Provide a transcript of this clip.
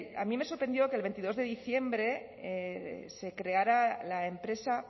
a mí me sorprendió que el veintidós de diciembre se creara la empresa